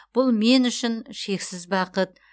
бұл мен үшін шексіз бақыт